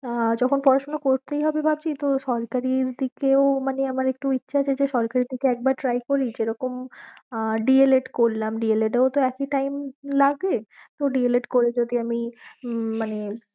তা যখন পড়াশোনা করতেই হবে ভাবছি তো সরকারির দিকেও মানে আমার একটু ইচ্ছা আছে যে সরকারির দিকে একবার try করি যেরকম আহ D. el. ed করলাম D. el. ed এও তো একই time লাগে তো D. el. ed করে আমি মানে